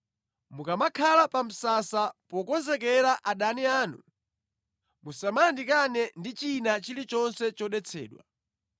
Mukamakhala pa msasa pokonzekera adani anu, musayandikane ndi china chilichonse chodetsedwa.